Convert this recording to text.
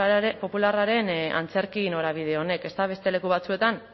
popularraren antzerki norabide honek ezta beste leku batzuetan